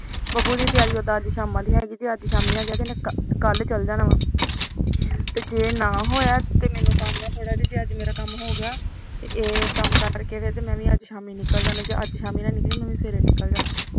ਬੱਬੂ ਦੀ ਤਿਆਰੀ ਅਜ ਸ਼ਾਮਾਂ ਦੀ ਤੇ ਹੈਗੀ ਕਲ ਚਲ ਜਾਣਾ ਤੇ ਜੇ ਨਾ ਹੋਇਆ ਮੈਨੂੰ ਥੋੜਾ ਜਾ ਕੰਮ ਏ ਮੇਰਾ ਕੰਮ ਹੋ ਗਿਆ ਇਹ ਕੰਮ ਕਰਕੇ ਤੇ ਮੈ ਵੀ ਅਜ ਸ਼ਾਮੀ ਨਿਕਲੀ ਜਾ ਅੱਜ ਸ਼ਾਮੀ ਨਾ ਨਿਕਲੀ ਮੈ ਵੀ ਸਵੇਰੇ ਨਿਕਲ ਜਾਣਾ